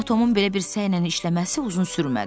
Amma Tomun belə bir səylə işləməsi uzun sürmədi.